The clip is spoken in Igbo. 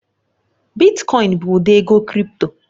Bitkoin oin bụ ụdị ego krị́pto